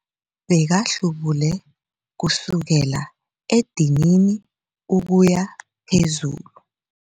Bekahlubule kusukela edinini ukuya phezulu.